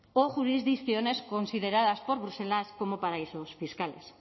o jurisdicciones consideradas por bruselas como paraísos fiscales